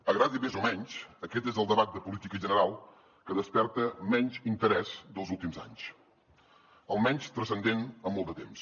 agradi més o menys aquest és el debat de política general que desperta menys interès dels últims anys el menys transcendent en molt de temps